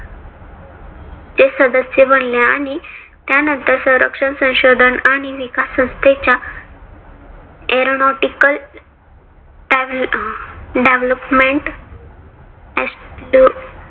ते सदस्य बनले. आणि त्यानंतर संरक्षण संशोधन आणि विकास संस्थेच्या aironotical development